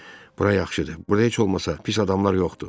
Bura yaxşıdır, burda heç olmasa pis adamlar yoxdur.